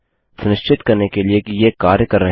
सुनिश्चित करने के लिए कि ये कार्य कर रहे हैं